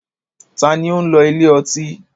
Ta ni ó ń lọ ilé ọtí?